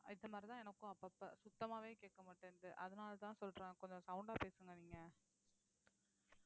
இப்ப மாதிரிதான் எனக்கும் அப்பப்ப சுத்தமாவே கேட்க மாட்டேன்னுது அதனாலதான் சொல்றேன் கொஞ்சம் sound ஆ பேசுங்க நீங்க